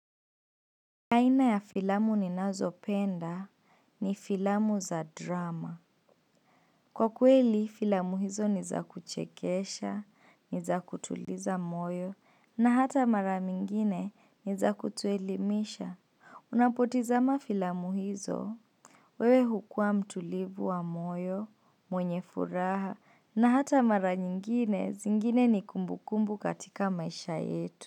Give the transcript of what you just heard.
Aina ya filamu ninazopenda ni filamu za drama. Kwa kweli, filamu hizo nizakuchekesha, nizakutuliza moyo, na hata mara mingine niza kutuelimisha. Unapotizama filamu hizo, wewe hukua mtulivu wa moyo, mwenye furaha, na hata mara nyingine zingine ni kumbukumbu katika maisha yetu.